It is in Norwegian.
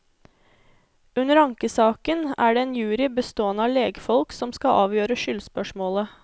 Under ankesaken er det en jury bestående av legfolk som skal avgjøre skyldspørsmålet.